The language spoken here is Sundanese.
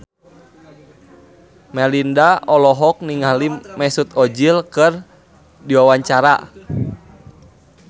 Melinda olohok ningali Mesut Ozil keur diwawancara